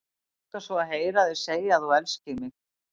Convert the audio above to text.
Mig langar svo að heyra þig segja að þú elskir mig!